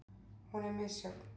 Hún er misjöfn.